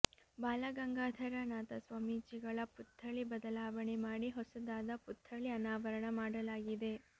ಬಾಲಗಂಗಾಧರ ನಾಥ ಸ್ವಾಮೀಜಿಗಳ ಪುತ್ಥಳಿ ಬದಲಾವಣೆ ಮಾಡಿ ಹೊಸದಾದ ಪುತ್ಥಳಿ ಅನಾವರಣ ಮಾಡಲಾಗಿದೆ